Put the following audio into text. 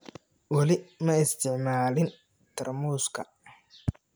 Wali ma isticmaalin tarmuuska.